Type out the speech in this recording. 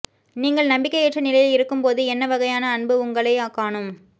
நீங்கள் நம்பிக்கையற்ற நிலையில் இருக்கும்போது என்ன வகையான அன்பு உங்களைக் காணும்